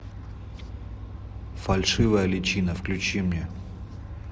фальшивая личина включи мне